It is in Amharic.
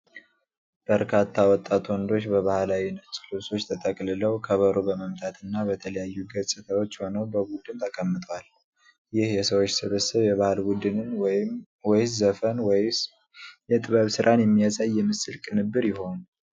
በርካታ ወጣት ወንዶች በባህላዊ ነጭ ልብሶች ተጠቅልለው፣ ከበሮ በመምታትና በተለያዩ ገጽታዎች ሆነው በቡድን ተቀምጠዋል፤ ይህ የሰዎች ስብስብ የባህል ቡድንን ወይስ ዘፈን ወይም የጥበብ ሥራን የሚያሳይ የምስል ቅንብር ይሆን?